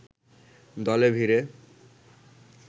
দলে ভিড়ে